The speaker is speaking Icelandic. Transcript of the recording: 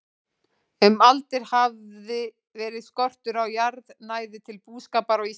Um aldir hafði verið skortur á jarðnæði til búskapar á Íslandi.